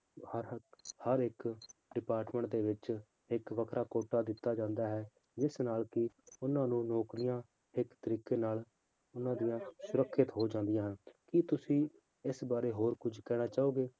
ਹਰ ਹਰ ਇੱਕ department ਦੇ ਵਿੱਚ ਇੱਕ ਵੱਖਰਾ ਕੋਟਾ ਦਿੱਤਾ ਜਾਂਦਾ ਹੈ ਜਿਸ ਨਾਲ ਕਿ ਉਹਨਾਂ ਨੂੰ ਨੌਕਰੀਆਂ ਇੱਕ ਤਰੀਕੇ ਨਾਲ ਉਹਨਾਂ ਦੀਆਂ ਸੁਰੱਖਿਅਤ ਹੋ ਜਾਂਦੀਆਂ ਹਨ ਕੀ ਤੁਸੀਂ ਇਸ ਬਾਰੇ ਹੋਰ ਕੁੱਝ ਕਹਿਣਾ ਚਾਹੋਗੇ?